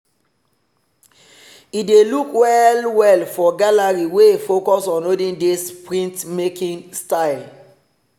he dey look well well for gallery wey focus on olden days printmaking style.